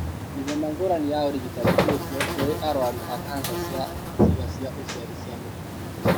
Mĩthemba ngũrani ya ũrigitani ĩkuo kũrĩ arũaru a kanca ya ciĩga cia ũciari cia mũtumia.